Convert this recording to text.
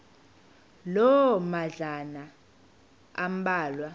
loo madlalana ambalwa